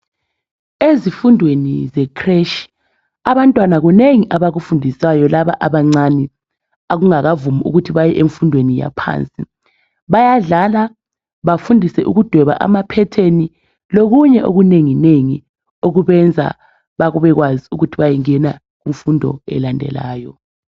ezifundweni ze creche abantwana kunengi abakufundiswayo laba abancani okungakavumi ukuthi bayemfundweni yaphansi bayadlala bafundiswe ukudweba ama pertain lokunye okunenginengi okubenza babekwazi ukuthi bayengena kumfundo elandelayo